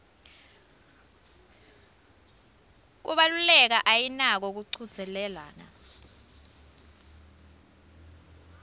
kubaluleka ayinako kuchudzelana